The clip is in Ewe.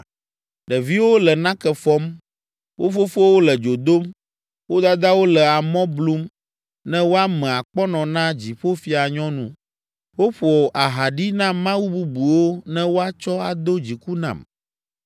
Ɖeviwo le nake fɔm, wo fofowo le dzo dom, wo dadawo le amɔ blum ne woame akpɔnɔ na Dziƒofianyɔnu. Woƒo aha ɖi na mawu bubuwo ne woatsɔ ado dziku nam.